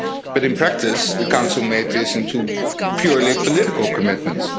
but in practice the Council made this into purely political commitments.